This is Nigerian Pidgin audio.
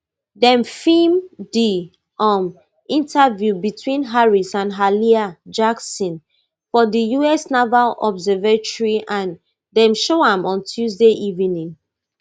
dem film di um interview between harris and hallie jackson for di us naval observatory and dem show am on tuesday evening